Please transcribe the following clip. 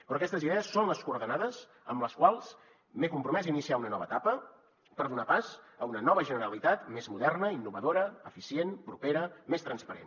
però aquestes idees són les coordenades amb les quals m’he compromès a iniciar una nova etapa per donar pas a una nova generalitat més moderna innovadora eficient propera més transparent